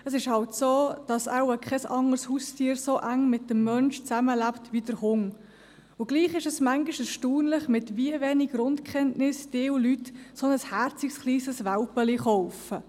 Es ist halt so, dass wohl kein anderes Haustier so eng mit dem Menschen zusammenlebt wie der Hund, und doch ist es manchmal erstaunlich, mit wie wenigen Grundkenntnissen ein Teil der Leute ein herziges kleines Welpchen kauft.